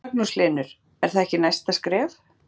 Magnús Hlynur: Er það ekki næsta skref?